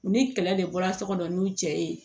U ni kɛlɛ de bɔra so kɔnɔ n'u cɛ ye